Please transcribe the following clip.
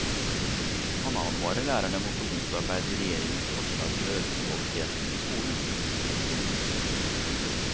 Han advarer lærerne mot å motarbeide regjeringens forslag til å øke kvaliteten i skolen. punktum